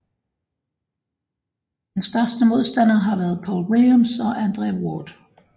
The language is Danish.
Hans største modstandere har været Paul Williams og Andre Ward